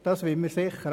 Das wollen wir nicht.